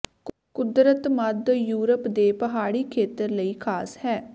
ਕੁਦਰਤ ਮੱਧ ਯੂਰਪ ਦੇ ਪਹਾੜੀ ਖੇਤਰ ਲਈ ਖਾਸ ਹੈ